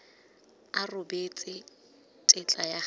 a rebotse tetla ya go